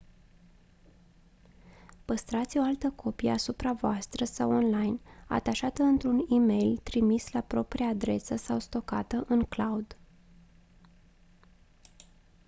păstrați o altă copie asupra voastră sau online atașată într-un e-mail trimis la propria adresă sau stocată în «cloud».